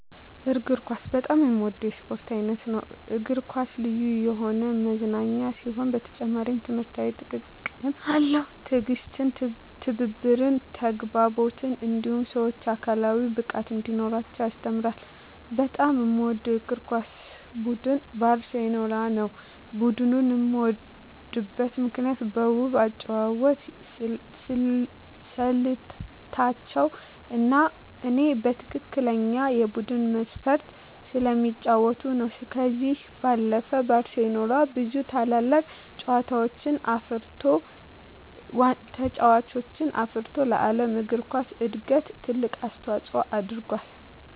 እግር ኳስ በጣም የምወደው የስፖርት አይነት ነው። እግር ኳስ ልዩ የሆነ መዝናኛ ሲሆን በተጨማሪም ትምህርታዊ ጥቅምም አለው። ትዕግስትን፣ ትብብርን፣ ተግባቦትን እንዲሁም ሰወች አካላዊ ብቃት እንዲኖራቸው ያስተምራል። በጣም የምወደው የእግር ኳስ ቡድን ባርሴሎናን ነው። ቡድኑን የምወድበት ምክንያት በውብ የአጨዋወት ስልታቸው እኔ በትክክለኛ የቡድን መንፈስ ስለሚጫወቱ ነው። ከዚህ ባለፈም ባርሴሎና ብዙ ታላላቅ ተጫዋቾችን አፍርቶ ለዓለም እግር ኳስ እድገት ትልቅ አስተዋፅኦ አድርጎአል።